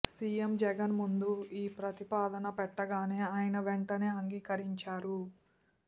CM Jagan ముందు ఈ ప్రతిపాదన పెట్టగానే ఆయన వెంటనే అంగీకరించారు